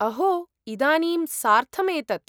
अहो, इदानीं सार्थम् एतत्।